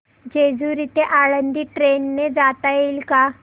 जेजूरी ते आळंदी ट्रेन ने जाता येईल का